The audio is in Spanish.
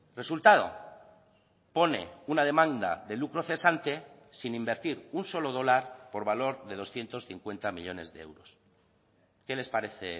resultado pone una demanda de lucro cesante sin invertir un solo dólar por valor de doscientos cincuenta millónes de euros qué les parece